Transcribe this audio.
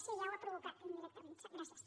sí ja ho ha provocat indirectament gràcies